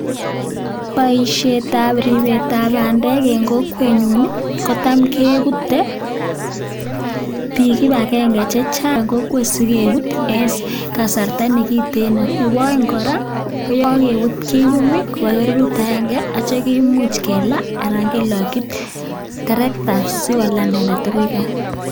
Boishetab ribetab bandek en kokwenyun ii, kotam kebute biik kibagenge che chang kokwet sikebut en kasarta ne kiten. Nebo oeng kora, ko ye kogebut kiyum koba keberut agenge ak kityo kemuch kelaa anan loki terekta asi kolaa inendet agoi gaa.